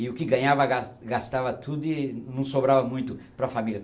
E o que ganhava, gas gastava tudo e não sobrava muito para família.